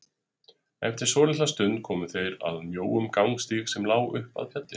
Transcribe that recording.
Eftir svolitla stund komu þeir að mjóum gangstíg sem lá upp að fjallinu.